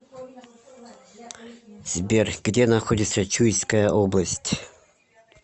сбер где находится чуйская область